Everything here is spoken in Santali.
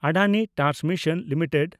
Adani transmission limited